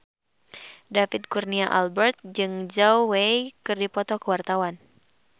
David Kurnia Albert jeung Zhao Wei keur dipoto ku wartawan